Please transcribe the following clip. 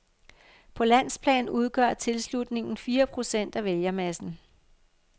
På landsplan udgør tilslutningen fire procent af vælgermassen.